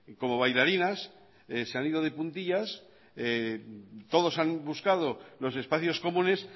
como bailarinas se han ido de puntillas todos han buscado los espacios comunes